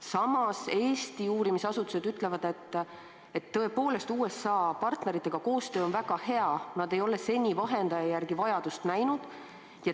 Samas, Eesti uurimisasutused ütlevad, et tõepoolest, USA partneritega tehtav koostöö on olnud väga hea ja nad ei ole seni vahendaja järele vajadust näinud.